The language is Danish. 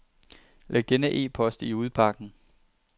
Læg denne e-post i udbakken.